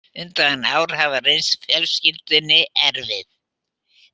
Undanfarin ár hafa reynst fjölskyldunni erfið